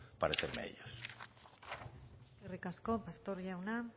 parecerme a ellos eskerrik asko pastor jauna